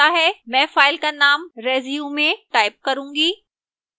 मैं फाइल का name resume type करूंगी